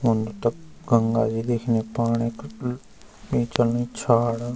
ऊनि तख गंगा भी दिखणी पानी बिलकुल बीचम छाड़।